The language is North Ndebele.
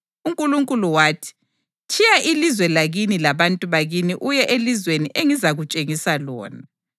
UNkulunkulu wathi, ‘Tshiya ilizwe lakini labantu bakini uye elizweni engizakutshengisa lona.’ + 7.3 UGenesisi 12.1